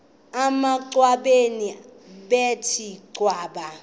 emangcwabeni bethe cwaka